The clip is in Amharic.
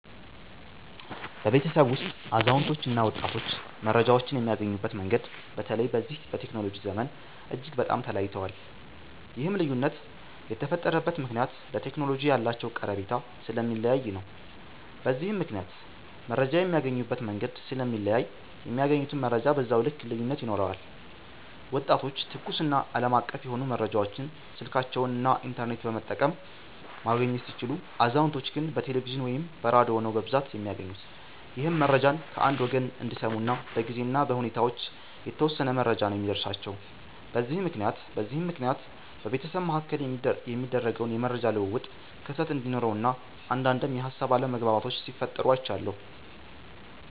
በቤተሰብ ውስጥ አዛውንቶች እና ወጣቶች መረጃዎችን የሚያገኙበት መንገድ በተለይ በዚህ በቴክኖሎጂ ዘመን። እጅግ በጣም ተለያይተዋል። ይህም ልዩነት የተፈጠረበት ምክንያት ለቴክኖሎጂ ያላቸው ቀረቤታ ስለሚለያይ ነው። በዚህም ምክንያት መረጃ የሚያገኙበት መንገድ ስለሚለያይ የሚያገኙትም መረጃ በዛው ልክ ልዩነት ይኖረዋል። ወጣቶች ትኩስ እና አለማቀፍ የሆኑ መረጃዎችን ስልካቸውን እና ኢንተርኔት በመጠቀም ማግኘት ሲችሉ፤ አዛውንቶች ግን በቴሌቪዥን ወይም በራዲዮ ነው በብዛት የሚያገኙት ይህም መረጃን ከአንድ ወገን እንዲሰሙ እና በጊዜ እና በሁኔታዎች የተወሰነ መረጃ ነው የሚደርሳቸው። በዚህም ምክንያት በቤተሰብ መሀከል የሚደረገውን የመረጃ ልውውጥ ክፍተት እንዲኖረው እና አንዳዴም የሀሳብ አለመግባባቶች ሲፈጠሩ አይቻለሁ።